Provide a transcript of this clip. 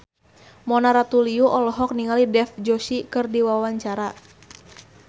Mona Ratuliu olohok ningali Dev Joshi keur diwawancara